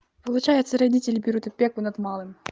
получается родители берут опеку над малым